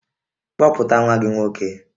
Kpọpụta nwa gị nwoke!